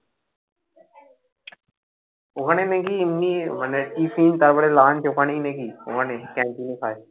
ওখানে নাকি এমনি মানে tiffin তারপরে lunch ওখানেই নাকি ওখানে canteen এ খায়